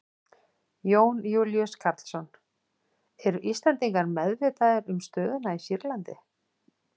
Jón Júlíus Karlsson: Eru Íslendingar meðvitaðir um stöðuna í Sýrlandi?